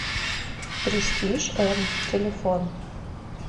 престиж м телефон